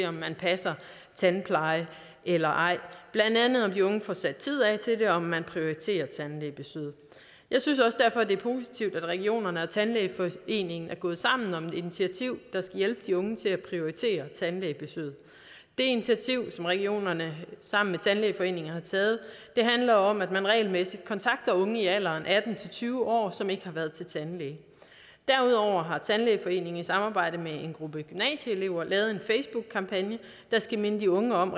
om man passer tandplejen eller ej blandt andet om de unge får sat tid af til det og om man prioriterer tandlægebesøget jeg synes også derfor det er positivt at regionerne og tandlægeforeningen er gået sammen om et initiativ der skal hjælpe de unge til at prioritere tandlægebesøget det initiativ som regionerne sammen med tandlægeforeningen har taget handler om at man regelmæssigt kontakter unge i alderen atten til tyve år som ikke har været til tandlæge derudover har tandlægeforeningen i samarbejde med en gruppe gymnasieelever lavet en facebookkampagne der skal minde de unge om at